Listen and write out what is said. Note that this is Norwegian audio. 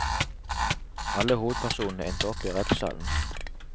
Alle hovedpersonene endte opp i rettssalen.